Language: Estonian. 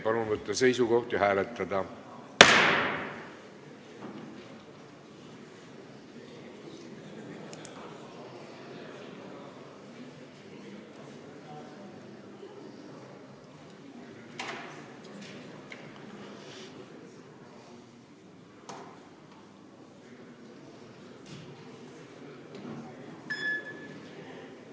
Palun võtta seisukoht ja hääletada!